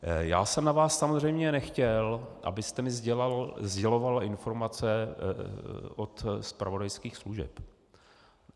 Já jsem na vás samozřejmě nechtěl, abyste mi sděloval informace od zpravodajských služeb.